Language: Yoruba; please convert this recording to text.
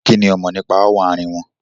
Kinni ó mọ̀ nípa ááwọ̀ àárín wọn?